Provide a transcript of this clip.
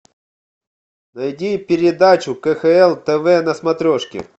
найди передачу кхл тв на смотрешке